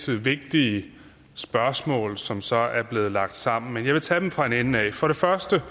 vigtige spørgsmål som så er blevet lagt sammen men jeg vil tage dem fra en ende af for det første